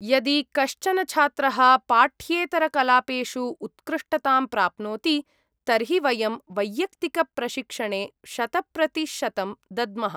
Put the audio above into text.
यदि कश्चन छात्रः पाठ्येतरकलापेषु उत्कृष्टतां प्राप्नोति तर्हि वयं वैयक्तिकप्रशिक्षणे शतप्रतिशतं दद्मः।